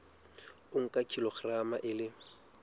o nka kilograma e le